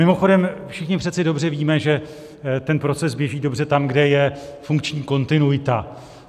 Mimochodem, všichni přece dobře víme, že ten proces běží dobře tam, kde je funkční kontinuita.